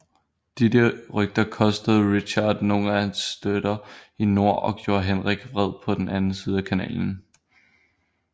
Disse rygter kostede Richard nogle af hans støtter i nord og gjorde Henrik vred på den anden side af Kanalen